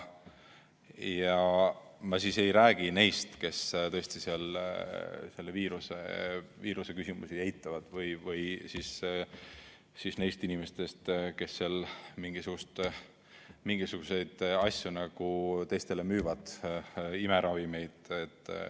Ma ei räägi neist inimestest, kes tõesti seal selle viiruse küsimusi eitavad, või siis neist, kes seal mingisuguseid asju teistele müüvad, näiteks imeravimeid.